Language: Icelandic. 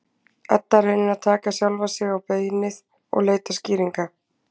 Edda reynir að taka sjálfa sig á beinið og leita skýringa.